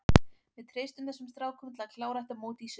Við treystum þessum strákum til að klára þetta mót í sumar.